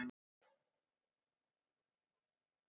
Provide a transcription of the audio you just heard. Hvernig er stemningin hjá Magna?